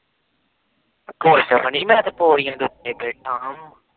ਕੁਛ ਨੀ ਮੈ ਤੇ ਪੋੜੀਆ ਦੇ ਉਤੇ ਬੈਠਾ